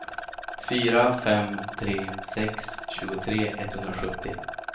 fyra fem tre sex tjugotre etthundrasjuttio